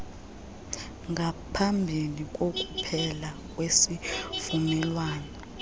ngaphambi kokuphela kwesivumelwano